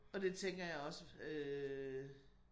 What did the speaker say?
Og det tænker jeg også øh